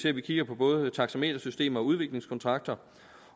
at vi kigger på både taxametersystem og udviklingskontrakter